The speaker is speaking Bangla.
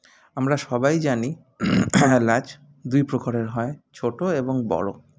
আমরা সবাই জানি এলাচ দুই প্রকারের হয় ছোটো এবং বড়ো